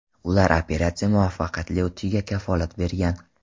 Ular operatsiya muvaffaqiyatli o‘tishiga kafolat bergan.